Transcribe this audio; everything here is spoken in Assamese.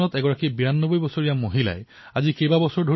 মেঘাজীয়ে ভাৰতৰ এই লক্ষ্মীৰ বিনম্ৰতা তথা কৰুণাৰ দ্বাৰা প্ৰভাৱান্বিত হৈছে